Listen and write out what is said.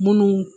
Munnu